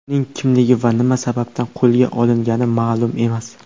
Uning kimligi va nima sababdan qo‘lga olingani ma’lum emas.